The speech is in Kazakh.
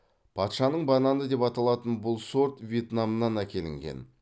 патшаның бананы деп аталатын бұл сорт вьетнамнан әкелінген